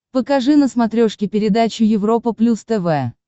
покажи на смотрешке передачу европа плюс тв